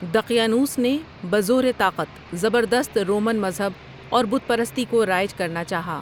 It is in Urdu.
دقیانوس نے بزور طاقت زبردست رومن مذہب اور بت پرستی کو رائج کرنا چاہا ۔